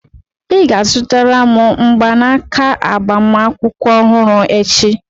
Ị ga-azụtara m mgbanaka agbamakwụkwọ ọhụrụ echi!